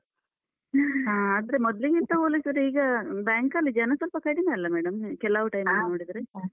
ಹ ಹ. ಆದ್ರೆ ಮೊದ್ಲಿಗಿಂತ ಒಂದೊಂದ್ಸರಿ ಈಗ ಬ್ಯಾಂಕಲ್ಲಿ ಜನ ಸ್ವಲ್ಪ ಕಡಿಮೆಯಲ್ಲ madam ಕೆಲವು time ಅಲ್ಲಿ ನೋಡಿದ್ರೆ?